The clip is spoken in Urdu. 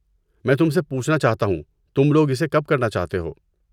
میں تم سے پوچھنا چاہتا ہوں، تم لوگ اسے کب کرنا چاہتے ہو؟